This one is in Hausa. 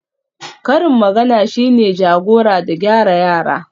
karin magana shine jagora da gyara yara